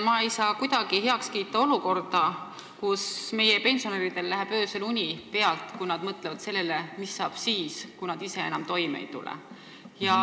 Ma ei saa kuidagi heaks kiita olukorda, kus pensionäridel läheb öösel uni pealt, kui nad mõtlevad sellele, mis saab siis, kui nad ise enam toime ei tule.